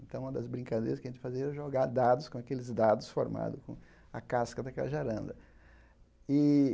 Então, uma das brincadeiras que a gente fazia era jogar dados com aqueles dados formados com a casca da cajaranda.